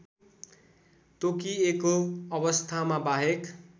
तोकिएको अवस्थामा बाहेक